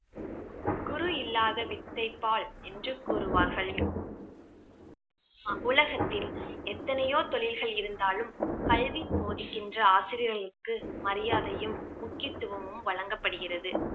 குரு இல்லாத வித்தை பால் என்று கூறுவார்கள் உலகத்தின் எத்தனையோ தொழில்கள் இருந்தாலும் கல்வி போதிக்கின்ற ஆசிரியர்களுக்கு மரியாதையும், முக்கியத்துவமும் வழங்கப்படுகிறது